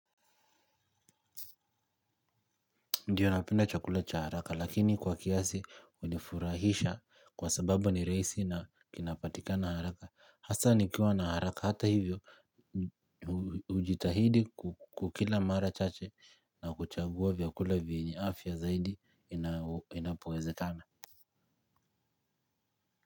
Ndiyo napenda chakula cha haraka lakini kwa kiasi hunifurahisha kwa sababu ni rahisi na kinapatikana haraka. Hasa nikiwa na haraka hata hivyo hujitahidi kukila mara chache na kuchagua vyakula vyenye afya zaidi inapowezekana.